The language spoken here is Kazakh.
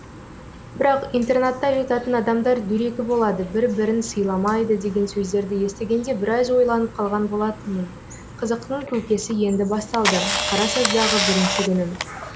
бірақ интернатта жататын адамдар дөрекі болады бір бірін сыйламайды деген сөздерді естігенде біраз ойланып қалған болатынмын қызықтың көкесі енді басталды қарасаздағы бірінші күнім